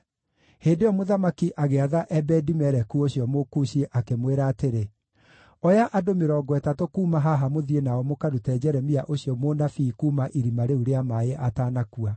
Hĩndĩ ĩyo mũthamaki agĩatha Ebedi-Meleku ũcio Mũkushi, akĩmwĩra atĩrĩ: “Oya andũ mĩrongo ĩtatũ kuuma haha mũthiĩ nao mũkarute Jeremia ũcio mũnabii kuuma irima rĩu rĩa maaĩ atanakua.”